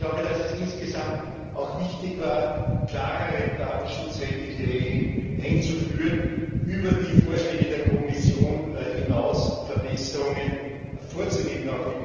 Ich glaube, dass es insgesamt auch wichtig war, klarere datenschutzrechtliche Regeln einzuführen und über die Vorschläge der Kommission hinaus Verbesserungen vorzunehmen.